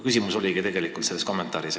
Küsimus oligi tegelikult selles kommentaaris.